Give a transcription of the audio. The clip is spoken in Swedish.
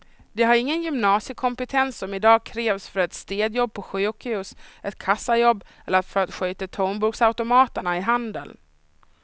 De har ingen gymnasiekompetens som i dag krävs för ett städjobb på sjukhus, ett kassajobb eller för att sköta tomburksautomaterna i handeln.